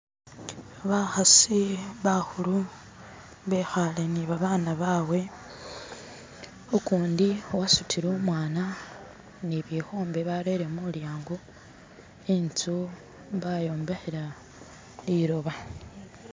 ba'hasi ba'hulu be'hale niba'baana ba'bwe u'kundi wa'sutile u'mwana ni'byehundi ba'rere mu'lyango i'nstu ba'yombehela li'loba